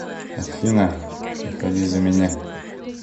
афина выходи за меня